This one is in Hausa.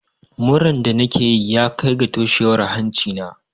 Muran da nake yi ya kai ga toshewar hanci na.